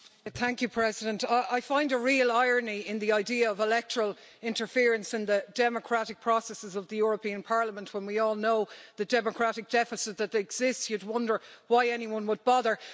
Madam President, I find a real irony in the idea of electoral interference in the democratic processes of the European Parliament when we all know the democratic deficit that exists, and you'd wonder why anyone would bother!